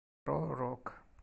про рок